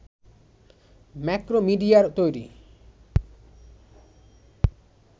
ম্যাক্রোমিডিয়ার তৈরি